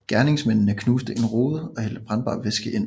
Gerningsmændene knuste en rude og hældte brandbar væske ind